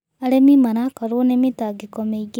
Arĩmĩ marakorwo nĩ mĩtangĩko mĩĩngĩ